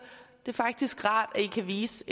det er faktisk rart at i kan vise